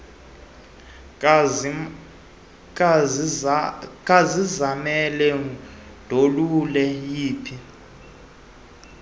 kazizamele ndolule yiphi